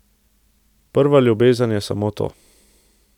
Prva ljubezen je samo to.